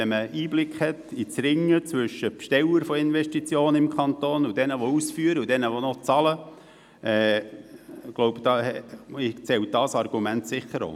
Wenn man einen Einblick in die Verhandlungen zwischen Besteller von Investitionen im Kanton Bern und den Ausführenden und den Zahlenden hat, zählt dieses Argument bestimmt auch.